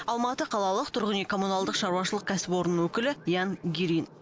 алматы қалалық тұрғын үй коммуналдық шаруашылық кәсіпорнының өкілі ян гирин